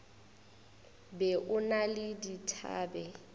be o na le dithabe